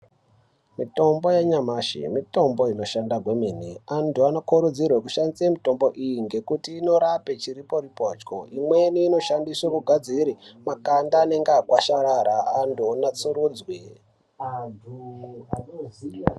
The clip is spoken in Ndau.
Mitombo yanyamashi mitombo inoshanda kwemene. Antu anokurudzirwe kushandise mitombo iyi ngekuti inorape chiripo ripotyo. Imweni inoshandiswe kugadzire makanda anenge akwasharara, antu onatsurudzwe.